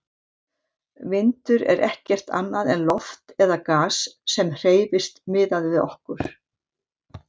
Vindur er ekkert annað en loft eða gas sem hreyfist miðað við okkur.